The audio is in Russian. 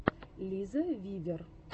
лиза вивер